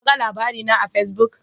Kaga labari na a Fesbuk?